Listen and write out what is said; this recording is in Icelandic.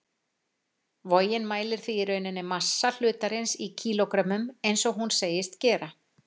Vogin mælir því í rauninni massa hlutarins í kílógrömmum, eins og hún segist gera.